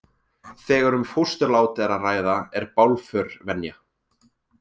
Þegar um fósturlát er að ræða er bálför venja.